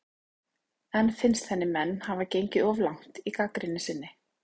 En finnst henni menn hafa gengið of langt í gagnrýni sinni?